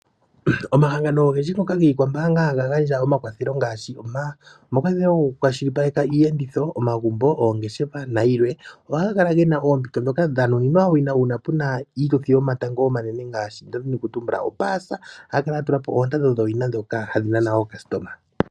Omahangano ogendji ngoka giikwambaanga haga gandja omakwathelo ngaashi; omakwathelo goku kwa shilipaleke iiyenditho ,omagumbo, oongeshefa na yilwe . Ohaga kala gena oompito dhoka dha nuninwa owina uuna pena iituthi yomatango omanene ngaashi nda dhini oku tumbula opaasa ,haya kala ya tula po oondando dhoka hadhi nana aalandi .